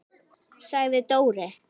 sagði Dóri.